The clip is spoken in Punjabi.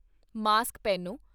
ਮਾਸਕ ਪਹਿਨੋ